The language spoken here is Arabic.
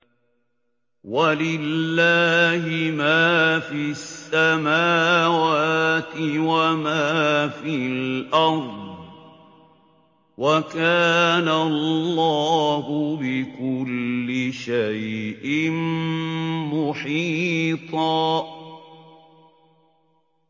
وَلِلَّهِ مَا فِي السَّمَاوَاتِ وَمَا فِي الْأَرْضِ ۚ وَكَانَ اللَّهُ بِكُلِّ شَيْءٍ مُّحِيطًا